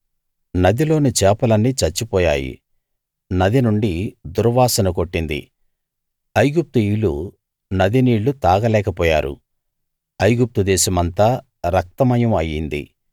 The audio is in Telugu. నదిలోని చేపలన్నీ చచ్చిపోయాయి నది నుండి దుర్వాసన కొట్టింది ఐగుప్తీయులు నది నీళ్లు తాగలేక పోయారు ఐగుప్తు దేశమంతా రక్తమయం అయింది